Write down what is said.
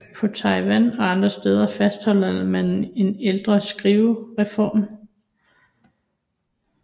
På Taiwan og andre steder fastholder man en ældre skrivenorm